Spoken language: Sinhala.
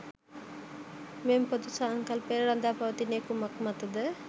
මෙම පොදු සංකල්පය රඳා පවතින්නේ කුමක් මත ද?